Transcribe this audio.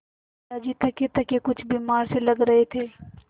दादाजी थकेथके कुछ बीमार से लग रहे थे